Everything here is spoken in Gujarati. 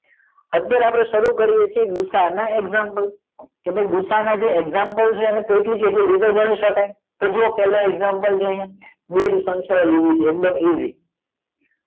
અત્યાર આપડે શરૂ કરીએ છીએ ગૂસા ના એકઝામ્પલ કે ગૂસા ના એકઝામ્પલ છે એને કેટલી રીતે ગણી સકાય તો જોવો પેલો એકઝામ્પલ છે આ સંખ્યા લીધી છે એકદમ ઈસી